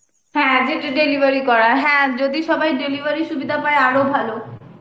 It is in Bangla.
হ্যাঁ যেটা delivery করার হ্যাঁ যদি সবাই delivery সুবিধা পাই আরো ভালো